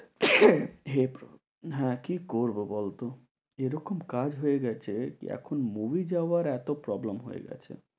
হ্যাঁ কি করবো বলতো? এরকম কাজ হয়ে গেছে কি এখন movie যাওয়ার এত problem হয়ে গেছে।